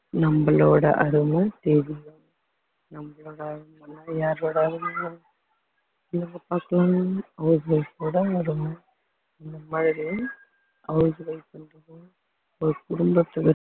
நம்மளோட அருமை தெரியும் நம்மளோட அருமை யாரோட அருமை house wife ஒட அருமை அந்த மாதிரி house wife ன்றது ஒரு குடும்பத்தை